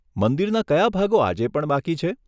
મંદિરના કયા ભાગો આજે પણ બાકી છે?